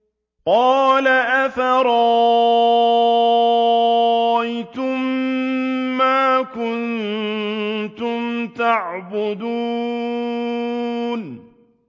قَالَ أَفَرَأَيْتُم مَّا كُنتُمْ تَعْبُدُونَ